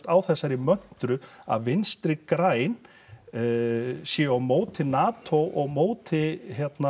á þessari möntru að Vinstri græn séu á móti NATO og á móti